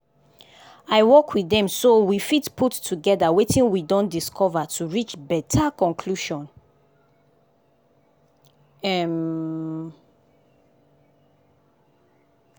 i work with dem so we fit put togetherwetin we don dicover to reach better conclusion. um